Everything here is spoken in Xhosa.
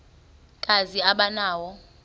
kazi aba nawo